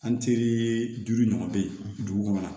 An teri duuru ɲɔgɔn bɛ yen dugu kɔnɔ